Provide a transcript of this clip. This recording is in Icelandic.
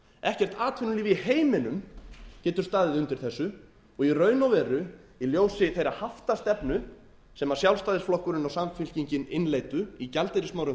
ekkert atvinnulíf í heiminum getur staðið undir þessu og í raun og veru í ljósi þeirrar haftastefnu sem sjálfstæðisflokkurinn og samfylkingin innleiddu í gjaldeyrismálum